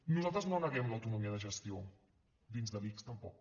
nosaltres no neguem l’autonomia de gestió dins de l’ics tampoc